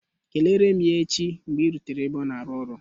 Kelere m ya echi mgbe ị rutere n'ebe ọ na-arụ ọrụ